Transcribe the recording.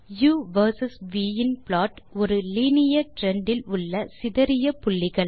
உ versus v இன் plot ஒரு லைனியர் ட்ரெண்ட் இல் உள்ள சிதறிய புள்ளிகள்